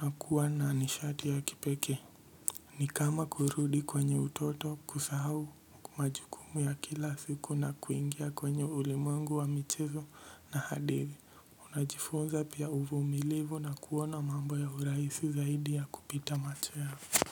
unakuwa na nishati ya kipekee. Ni kama kurudi kwenye utoto kusahau majukumu ya kila siku na kuingia kwenye ulimwengu wa michezo na hadithi unajifunza pia uvumilivu na kuona mambo ya urahisi zaidi ya kupita macho yako.